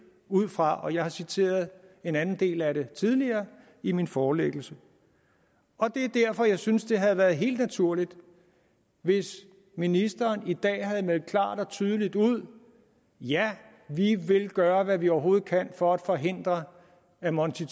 ud fra og jeg har citeret en anden del af det tidligere i min forelæggelse det er derfor jeg synes det havde været helt naturligt hvis ministeren i dag havde meldt klart og tydeligt ud ja vi vil gøre hvad vi overhovedet kan for at forhindre at monti